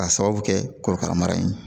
K'a sababu kɛ korokara mara ye